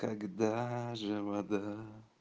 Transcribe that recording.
когда же вода